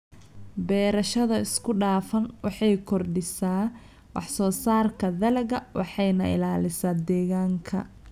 Beerashada isku dhafan waxay kordhisaa wax soo saarka dalagga waxayna ilaalisaa deegaanka.